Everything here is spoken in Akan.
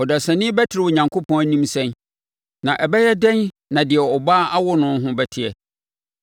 Ɔdasani bɛtene Onyankopɔn anim sɛn, na ɛbɛyɛ dɛn na deɛ ɔbaa awo no ho bɛteɛ?